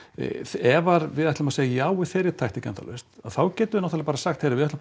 ef við ætlum að segja já við þeirri taktík endalaust þá getum við náttúrulega bara sagt heyrðu við ætlum